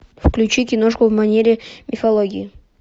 включи киношку в манере мифологии